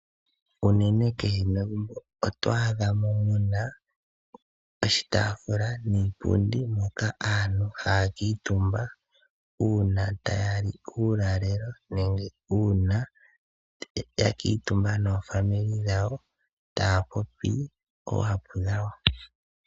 Unene kehe megumbo oto adha mo mu na oshitaafula niipundi hoka aantu haya kuutumba uuna taya li uulalelo nenge uuna ya kuutumba naakwanezimo yawo taya popi oohapu dhawo.